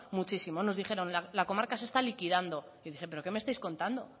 muchísimo nos dijeron la comarca se está liquidando y dije pero qué me estáis contando